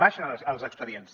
baixen els expedients